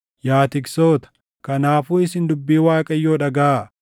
yaa tiksoota, kanaafuu isin dubbii Waaqayyoo dhagaʼaa: